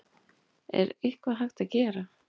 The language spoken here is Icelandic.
Er eitthvað hægt að gera?